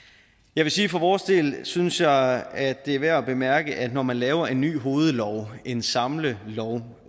jeg vil sige for vores del synes jeg at det er værd at bemærke at når man laver en ny hovedlov en samlelov